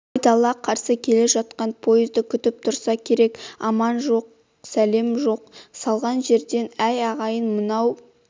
айдала қарсы келе жатқан поезды күтіп тұрса керек аман жоқ-сәлем жоқ салған жерден әй ағайын мынау